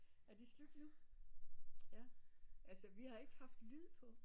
Er det slut nu altså vi har ikke haft lyd på